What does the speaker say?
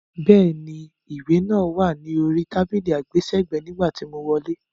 Bẹ́ẹ̀ni, ìwé náà wá ni orí tábìlì àgbésẹ̀gbẹ́ nígbà tí mo wọlé.